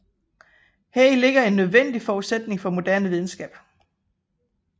Heri ligger en nødvendig forudsætning for moderne videnskab